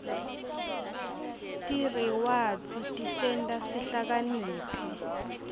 tirewadzi tisenta sihlakaniphe